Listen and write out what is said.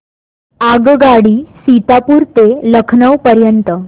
आगगाडी सीतापुर ते लखनौ पर्यंत